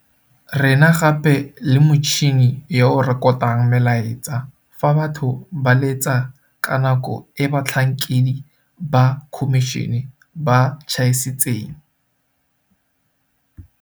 Re na gape le motšhini yo o rekotang melaetsa fa batho ba letsa ka nako e batlhankedi ba khomišene ba tšhaisitseng,